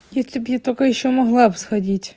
если бы я только ещё могла б сходить